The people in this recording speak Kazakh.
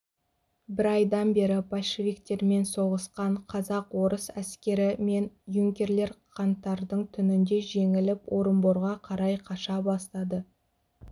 бір айдан бері большевиктермен соғысқан казак-орыс әскері мен юнкерлер қаңтардың түнінде жеңіліп орынборға қарай қаша бастады